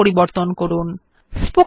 spoken tutorial অনুসন্ধান করুন